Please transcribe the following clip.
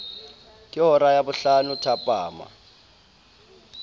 ke hora ya bohlano thapama